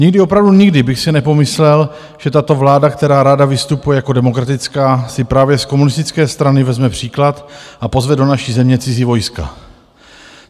Nikdy, opravdu nikdy bych si nepomyslel, že tato vláda, která ráda vystupuje jako demokratická, si právě z komunistické strany vezme příklad a pozve do naší země cizí vojska.